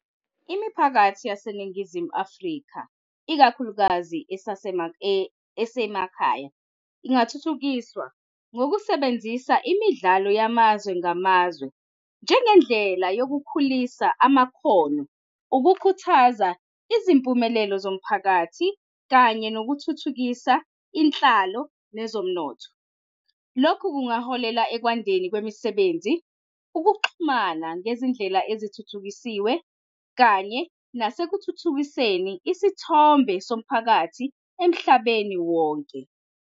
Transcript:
Imiphakathi laseNingizimu Afrika, ikakhulukazi esemakhaya, ingathuthukiswa ngokusebenzisa imidlalo yamazwe ngamazwe njengendlela yokukhulisa amakhono, ukukhuthaza izimpumelelo zomphakathi kanye nokuthuthukisa inhlalo nezomnotho. Lokhu kungaholela ekwandeni kwemisebenzi, ukuxhumana ngezindlela ezithuthukisiwe kanye nasekuthuthukiseni isithombe somphakathi emhlabeni wonke.